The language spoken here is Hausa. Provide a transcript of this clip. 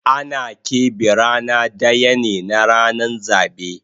Ana kepe rana daya ne na ranan zabe